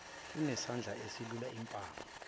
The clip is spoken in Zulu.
unesandla esilula impama